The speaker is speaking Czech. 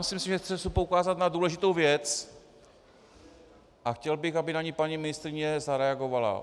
Myslím si, že chci poukázat na důležitou věc, a chtěl bych, aby na ni paní ministryně zareagovala.